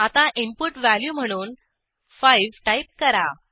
आता input value म्हणून 5 type करा